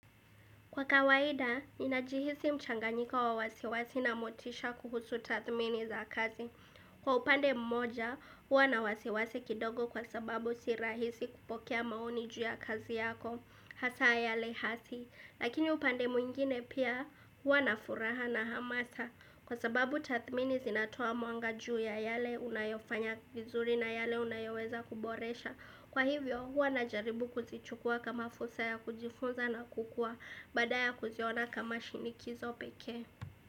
Kwa kawaida, inajihisi mchanganyiko wa wasiwasi na motisha kuhusu tathmini za kazi. Kwa upande mmoja, hua na wasiwasi kidogo kwa sababu si rahisi kupokea maoni juu ya kazi yako, hasa yale hasi. Lakini upande mwingine pia, hua na furaha na hamasa. Kwa sababu tathmini zinatoa mwanga juu ya yale unayofanya vizuri na yale unayoweza kuboresha. Kwa hivyo huwa najaribu kuzichukua kama fursa ya kujifunza na kukua baada ya kuziona kama shinikizo peke.